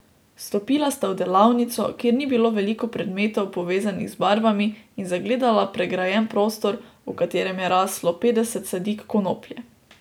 Vstopila sta v delavnico, kjer ni bilo veliko predmetov, povezanih z barvami, in zagledala pregrajen prostor, v katerem je raslo petdeset sadik konoplje.